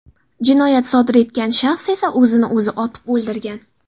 Jinoyat sodir etgan shaxs esa o‘zini o‘zi otib o‘ldirgan.